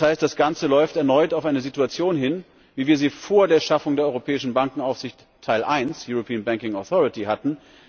Das heißt Das Ganze läuft erneut auf eine Situation hin, wie wir sie vor der Schaffung der europäischen Bankenaufsicht, Teil I European Banking Authority hatten.